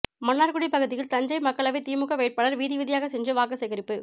மன்னார்குடி பகுதியில் தஞ்சை மக்களவை திமுக வேட்பாளர் வீதிவீதியாக சென்று வாக்கு சேகரிப்பு